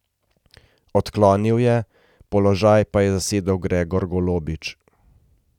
Odklonil je, položaj pa je zasedel Gregor Golobič.